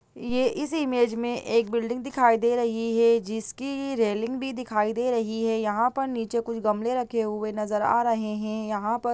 ये इस इमेज में एक बिल्डिंग दिखाई दे रही है जिसकी रेलिंग भी दिखाई दे रही है ।यहाँ पर नीचे कुछ गमले रखे हुए नज़र आ रहे हैं । यहाँ पर--